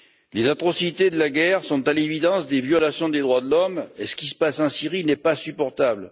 Les atrocités de la guerre sont à l'évidence des violations des droits de l'homme, et ce qui se passe un Syrie n'est pas supportable.